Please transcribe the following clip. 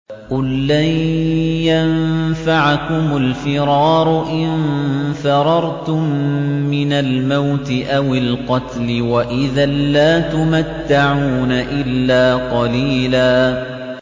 قُل لَّن يَنفَعَكُمُ الْفِرَارُ إِن فَرَرْتُم مِّنَ الْمَوْتِ أَوِ الْقَتْلِ وَإِذًا لَّا تُمَتَّعُونَ إِلَّا قَلِيلًا